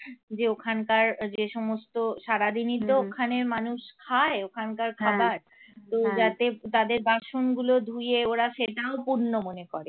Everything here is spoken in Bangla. যে ওখানকার যে সমস্ত সারাদিনই তো ওখানের মানুষ খায় ওখানকার খাবার তো যাতে তাদের বাসনগুলো ধুয়ে ওরা সেটাও পূণ্য মনে করে